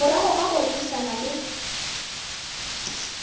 morago ga go rerišana le